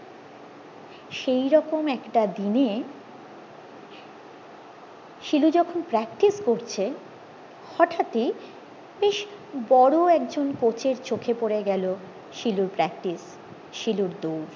সেই রকম একটা দিনে শিলু যখন practice করছে হটাৎ এই বেশ বড়ো একজন কোচের চোখে পরে গেলো শিলুর practice শিলুর দৌড়